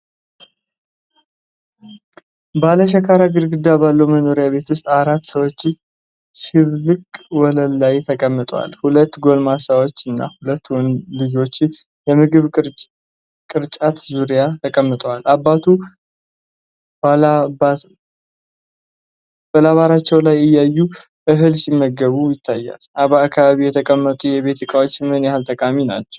ባለሸካራ ግድግዳ ባለው መኖሪያ ቤት ውስጥ አራት ሰዎች በሽብልቅ ወለል ላይ ተቀምጠዋል። ሁለት ጎልማሶችና ሁለት ልጆች የምግብ ቅርጫት ዙሪያ ተቀምጠዋል። አባቱ በላባራቸው ላይ እያየ እህል ሲመግብ ይታያል፤ በአካባቢው የተቀመጡ የቤት ዕቃዎች ምን ያህል ጠቃሚ ናቸው?